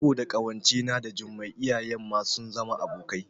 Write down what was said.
Saboda ƙawance na da Jummai iyayen ma sun zama abokai